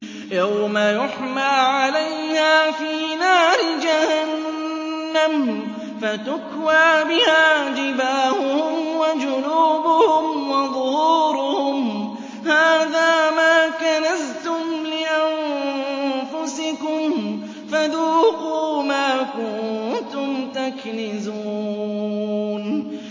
يَوْمَ يُحْمَىٰ عَلَيْهَا فِي نَارِ جَهَنَّمَ فَتُكْوَىٰ بِهَا جِبَاهُهُمْ وَجُنُوبُهُمْ وَظُهُورُهُمْ ۖ هَٰذَا مَا كَنَزْتُمْ لِأَنفُسِكُمْ فَذُوقُوا مَا كُنتُمْ تَكْنِزُونَ